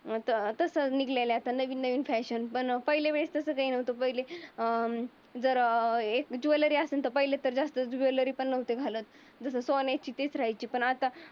अं त तस निघालेल्या नवीन नवीन फॅशन पण पाहिले वेलेस तसं नव्हतं पहिले अं जर अं एकस ज्वेलरी असेल तर जास्त कोणी ज्वेलरी पण नव्हते घालत. जस सोन्याची दिसायची पण आता